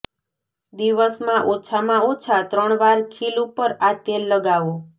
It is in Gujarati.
દિવસમાં ઓછામાં ઓછા ત્રણ વાર ખીલ ઉપર આ તેલ લગાવો